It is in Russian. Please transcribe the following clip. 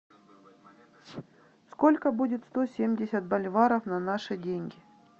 сколько будет сто семьдесят боливаров на наши деньги